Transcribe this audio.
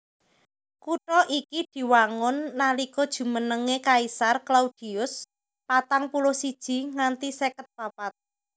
Kutha iki diwangun nalika jumenengé Kaisar Claudius patang puluh siji nganti seket papat